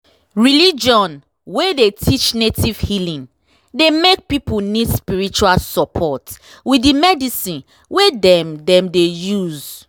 religion wey dey teach native healing dey make people need spiritual support with the medicine wey dem dem dey use.